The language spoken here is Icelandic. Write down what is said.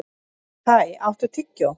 Kai, áttu tyggjó?